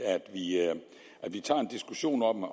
at vi tager en diskussion om